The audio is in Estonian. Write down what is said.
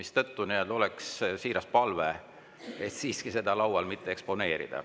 Seetõttu on siiras palve siiski seda laual mitte eksponeerida.